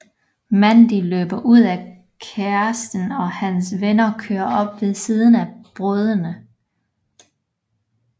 Mandy løber ud og kæresten og hans venner kører op ved siden af brødrene